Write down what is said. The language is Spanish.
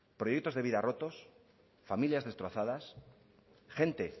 proyectos de vida rotos familias destrozadas gente